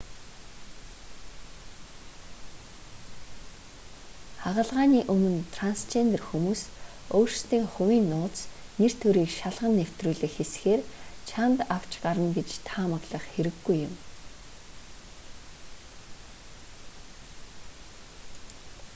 хагалгааны өмнө трансжендер хүмүүс өөрсдийн хувийн нууц нэр төрийг шалган нэвтрүүлэх хэсгээр чанд авч гарна гэж таамаглах хэрэггүй юм